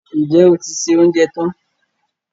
Ǹjẹ́ o ti se oúnjẹ tán